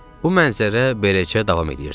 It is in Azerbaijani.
Bu mənzərə beləcə davam eləyirdi.